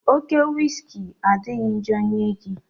Oke wiski adịghị njọ nye gị